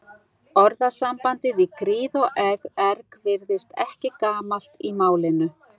Orðasambandið í gríð og erg virðist ekki gamalt í málinu.